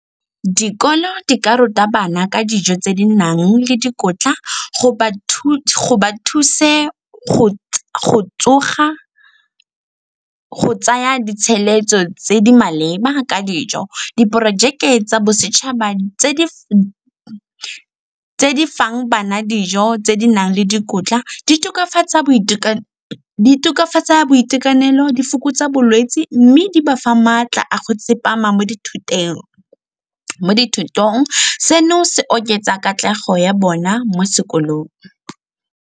Dikolo di ka ruta bana ka dijo tse di nang le dikotla go ba thuse go tsoga go tsaya di tse di maleba ka dijo. Diporojeke tsa bosetšhaba tse di fang bana dijo, tse di nang le dikotla di tokafatsa boitekanelo, di fokotsa bolwetse mme di ba fa maatla a go tsepama mo dithutong. Seno se oketsa katlego ya bona mo sekolong.